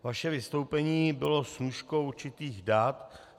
Vaše vystoupení bylo snůškou určitých dat.